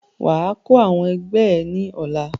Wà á kọ́ àwọn ẹgbẹ́ ẹ̀ ní ọ̀la!